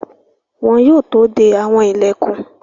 Wọn yóò tó de àwọn ìlẹ̀kùn.